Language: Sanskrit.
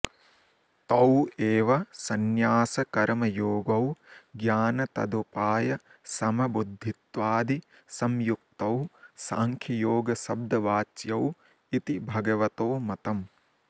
तौ एव सन्न्यासकर्मयोगौ ज्ञानतदुपायसमबुद्धित्वादिसंयुक्तौ साङ्ख्ययोगशब्दवाच्यौ इति भगवतो मतम्